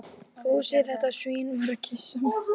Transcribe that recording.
Fúsi, þetta svín, var að kyssa mig.